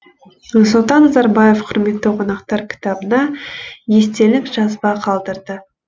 нұрсұлтан назарбаев құрметті қонақтар кітабына естелік жазба қалдырды